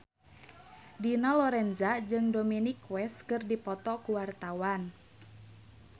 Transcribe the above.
Dina Lorenza jeung Dominic West keur dipoto ku wartawan